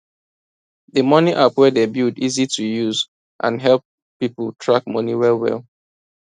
d money app wey dem build easy to use and help people track money well well